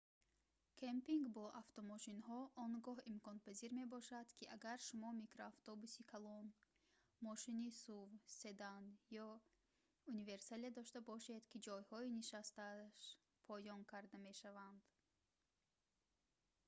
кэмпинг бо автомошинҳо он гоҳ имконпазир мебошад ки агар шумо микроавтобуси калон мошини suv седан ё универсале дошта бошед ки ҷойҳои нишасташ поён карда мешаванд